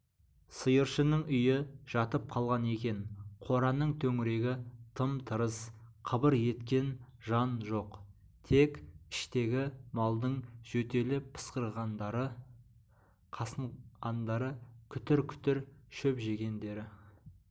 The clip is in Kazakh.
сиыршының үйі жатып қалған екен қораның төңірегі тым-тырыс қыбыр еткен жан жоқ тек іштегі малдың жөтеліп-пысқырғандары қасынғандары күтір-күтір шөп жегендері